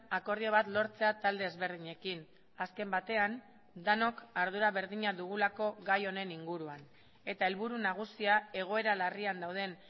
akordio bat lortzea talde ezberdinekin azken batean denok ardura berdina dugulako gai honen inguruan eta helburu nagusia egoera larrian dauden